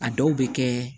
A dɔw bɛ kɛ